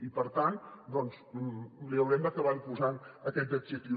i per tant doncs li haurem d’acabar posant aquest adjectiu